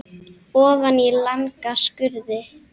Ofan í langa skurði.